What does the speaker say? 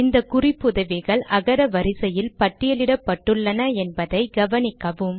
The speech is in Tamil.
இந்த குறிப்புதவிகள் அகர வரிசையில் பட்டியலிடப்பட்டுள்ளன என்பதையும் கவனிக்கவும்